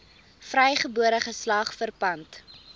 vrygebore geslag verpand